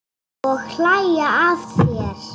Og hlæja að þér.